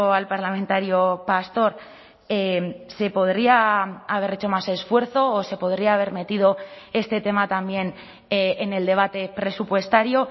al parlamentario pastor se podría haber hecho más esfuerzo o se podría haber metido este tema también en el debate presupuestario